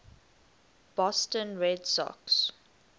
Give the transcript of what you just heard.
boston red sox